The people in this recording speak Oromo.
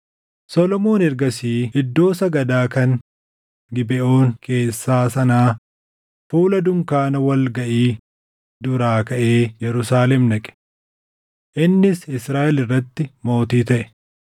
Solomoon ergasii iddoo sagadaa kan Gibeʼoon keessaa sanaa, fuula dunkaana wal gaʼii duraa kaʼee Yerusaalem dhaqe. Innis Israaʼel irratti mootii taʼe.